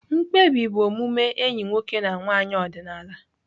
Mkpebi bụ omume enyi nwoke na nwanyị ọdịnala.